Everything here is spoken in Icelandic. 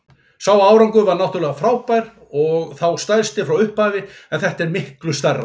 Sá árangur var náttúrlega frábær og þá stærsti frá upphafi en þetta er miklu stærra.